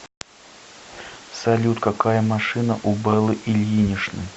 салют какая машина у беллы ильиничны